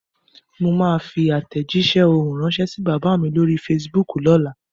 Mo máa fi àtèjísé ohùn ránsẹ́ sí bàbá mi lórí Fasibúùkù lóla